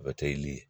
O bɛ kɛ i ni